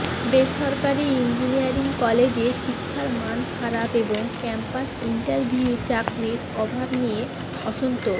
বেসরকারি ইঞ্জিনিয়ারিং কলেজে শিক্ষার মান খারাপ এবং ক্যাম্পাস ইন্টারভিউয়ে চাকরির অভাব নিয়ে অসন্তোষ